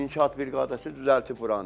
İnşaat briqadası düzəldib buranı.